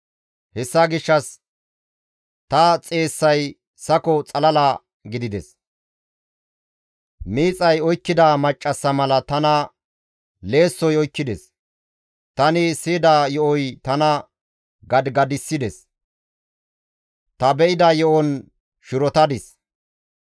Hessa gishshas ta xeessay sako xalala gidides; miixay oykkida maccassa mala tana leessoy oykkides; tani siyida yo7oy tana gadigadissides; ta be7ida yo7on shirotadis.